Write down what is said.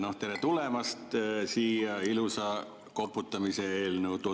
No tere tulemast siia ilusa koputamise eelnõu tutvustamisega.